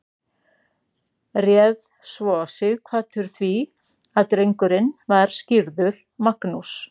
réð svo sighvatur því að drengurinn var skírður magnús